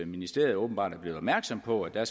ministeriet åbenbart er blevet opmærksom på at der